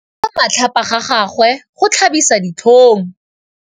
Go bua matlhapa ga gagwe go tlhabisa ditlhong.